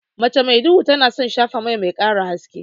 Mace mai duhu tana son shafa mai, mai ƙara haske.